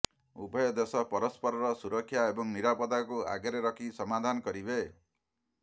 ଉଭୟ ଦେଶ ପରସ୍ପରର ସୁରକ୍ଷା ଏବଂ ନିରାପଦାକୁ ଆଗରେ ରଖି ସମାଧାନ କରିବେ